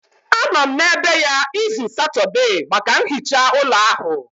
Anọ m n'ebe ya izu Satọde maka nhicha ụlọ ahụ